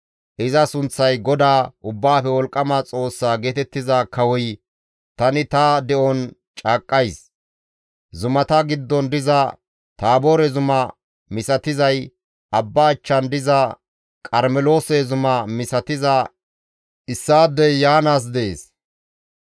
Iza sunththay GODAA Ubbaafe Wolqqama Xoossa geetettiza Kawoy, tani ta de7on caaqqays; zumata giddon diza Taaboore zuma misatizay, abba achchan diza Qarmeloose zuma misatiza issaadey yaanaas dees.